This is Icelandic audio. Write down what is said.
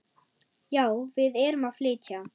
Já, við erum að flytja.